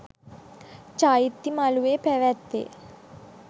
චෛත්‍ය මලුවේ පැවැත්වේ.